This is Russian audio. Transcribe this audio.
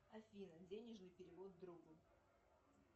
афина денежный перевод другу